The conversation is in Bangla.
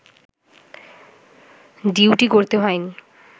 ডিউটি করতে হয়নি